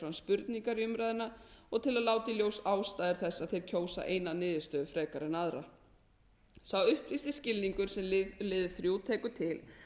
spurningar í umræðuna og til að láta í ljósi ástæður þess að þeir kjósa eina niðurstöðu frekar en aðra sá upplýsti skilningur sem liður tekur til